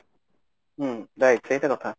ହୁଁ right ସେଇଟା କଥା